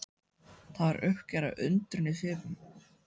Það var uppgerðar undrun í svipnum.